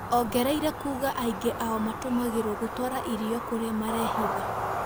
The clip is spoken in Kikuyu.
Ongereire kuuga aingĩ ao matumagĩrwa gutwara irio kurĩa marebitha.